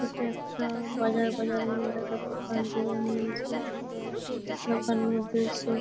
ইটা একটা বাজার বাজারের মধ্যে একটা দোকান দেওয়া হয়েছে দোকানের মধ্যে সব--